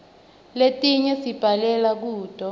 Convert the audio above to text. letinye sibhalela kuto